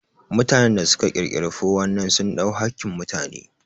Mutanen da su ka ƙirƙiri ''419'' sun ɗau hakkin mutane